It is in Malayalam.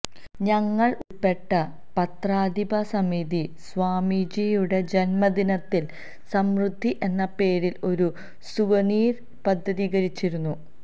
ഞങ്ങള് ഉള്പ്പെട്ട പത്രാധിപസമിതി സ്വാമിജിയുടെ ജന്മദിനത്തില് സമൃദ്ധി എന്ന പേരില് ഒരു സുവനീര് പ്രസിദ്ധീകരിച്ചിരുന്നു